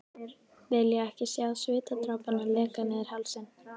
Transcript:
Vilja ekki sjá svitadropana leka niður hálsinn.